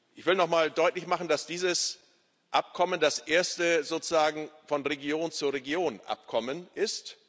Ich will nochmal deutlich machen, dass dieses Abkommen das erste sozusagen Von Region zu Region Abkommen ist.